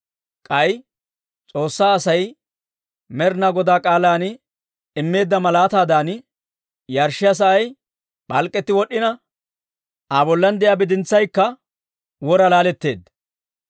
K'ay S'oossaa Asay Med'inaa Godaa k'aalan immeedda malaataadan yarshshiyaa sa'ay p'alk'k'etti wod'd'ina, Aa bollan de'iyaa bidintsaykka wora laaletteedda.